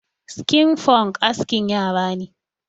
Sikin Funk askin yara ne.